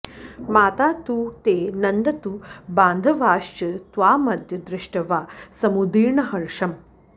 माता तु ते नन्दतु बान्धवाश्च त्वामद्य दृष्ट्वा समुदीर्णहर्षम्